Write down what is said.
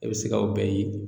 I be se ka o bɛɛ ye